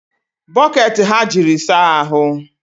Bokeeti ka ha jiri saahụ